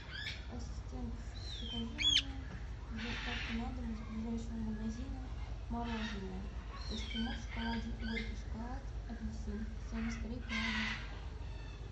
ассистент закажи мне с доставкой на дом из ближайшего магазина мороженое эскимо в шоколаде горький шоколад апельсин семьдесят три грамма